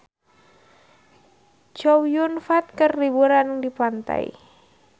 Chow Yun Fat keur liburan di pantai